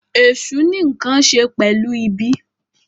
Èsù ní nkán ṣe pẹlu ìbí.